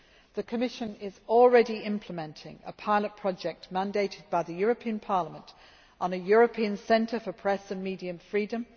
The Commission is already implementing a pilot project, mandated by the European Parliament, on a European centre for press and media freedom.